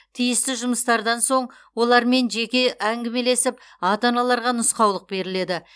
тиісті жұмыстардан соң олармен жеке әңгімелесіп ата аналарға нұсқаулық беріледі